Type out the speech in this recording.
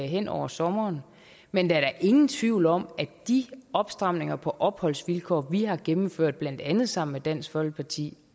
hen over sommeren men der er da ingen tvivl om at de opstramninger på opholdsvilkår vi har gennemført blandt andet sammen med dansk folkeparti